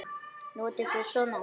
Notið þér svona?